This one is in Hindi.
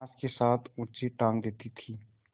बाँस के साथ ऊँचे टाँग देती थी